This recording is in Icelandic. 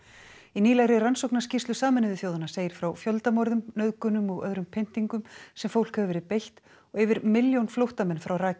í nýlegri rannsóknarskýrslu Sameinuðu þjóðanna segir frá fjöldamorðum nauðgunum og öðrum pyntingum sem fólk hefur verið beitt og yfir milljón flóttamenn frá